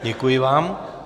Děkuji vám.